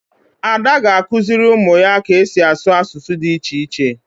Ada ga-akụziri ụmụ ya ka esi asụ asụsụ dị iche iche.